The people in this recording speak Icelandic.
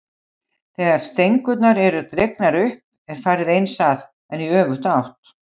Eragon, spilaðu lagið „Börn Guðs“.